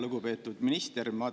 Lugupeetud minister!